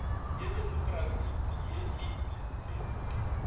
ya demokrasi ye e se